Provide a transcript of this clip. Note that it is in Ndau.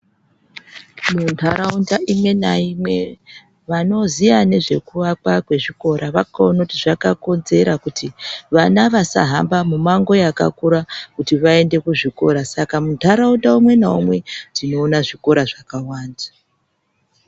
Ntaraunda imwe naimwe vanoziva nezvekuvakwa kwezvikora vakaona kuti zvakakodzera kuti vana vasahamba mumango yakakura kuti vaende kuzvikora. Saka muntaraunda umwe naumwe tinoon zvikora zvakawanda.